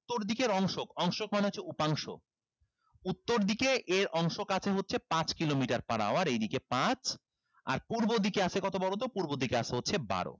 উত্তর দিকের অংশক অংশক মানে হচ্ছে উপাংশ উত্তর দিকে এর অংশক আছে হচ্ছে পাঁচ kilometer per hour এইদিকে পাঁচ আর পূর্ব দিকে আছে কত বলো তো পূর্ব দিকে আছে হচ্ছে বারো